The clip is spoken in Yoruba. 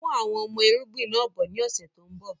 Mú àwọn ọmọ irúgbìn náà bọ ni ọ̀sẹ̀ tòun bọ̀